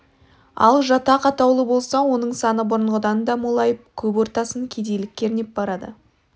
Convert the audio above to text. ал жатақ атаулы болса оның саны бұрынғыдан да молайып көп ортасын кедейлік кернеп барады